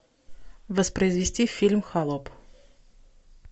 воспроизвести фильм холоп